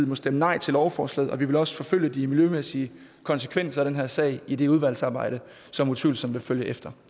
må stemme nej til lovforslaget og vi vil også forfølge de miljømæssige konsekvenser af den her sag i det udvalgsarbejde som utvivlsomt vil følge efter